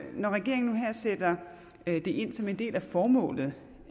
når regeringen nu her sætter det ind som en del af formålet